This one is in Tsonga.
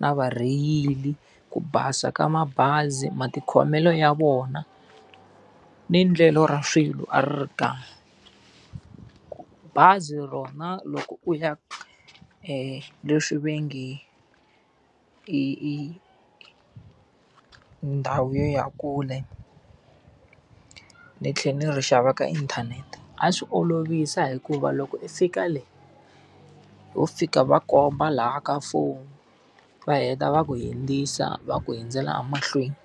na varheyili, ku basa ka mabazi, matikhomelo ya vona, ni endlelo ra swilo a ri ri kahle. Bazi rona loko u ya leswi va nge i i ndhawu ya kule, ni tlhela ni ri xava ka inthanete. A swi olovisa hikuva loko i fika le, wo fika u va komba laha ka foni va heta va ku hundzisa va ku hundzela emahlweni.